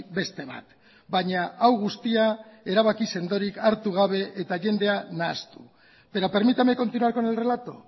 beste bat baina hau guztia erabaki sendorik hartu gabe eta jendea nahastu pero permítame continuar con el relato